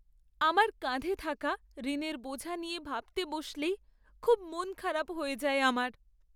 আমার কাঁধে থাকা ঋণের বোঝা নিয়ে ভাবতে বসলেই খুব মন খারাপ হয়ে যায় আমার।